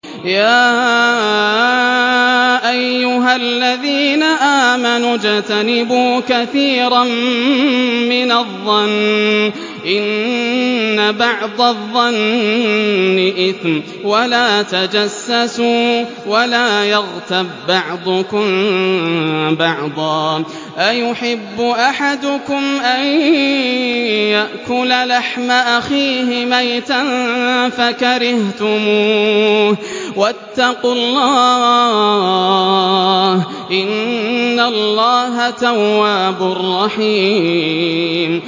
يَا أَيُّهَا الَّذِينَ آمَنُوا اجْتَنِبُوا كَثِيرًا مِّنَ الظَّنِّ إِنَّ بَعْضَ الظَّنِّ إِثْمٌ ۖ وَلَا تَجَسَّسُوا وَلَا يَغْتَب بَّعْضُكُم بَعْضًا ۚ أَيُحِبُّ أَحَدُكُمْ أَن يَأْكُلَ لَحْمَ أَخِيهِ مَيْتًا فَكَرِهْتُمُوهُ ۚ وَاتَّقُوا اللَّهَ ۚ إِنَّ اللَّهَ تَوَّابٌ رَّحِيمٌ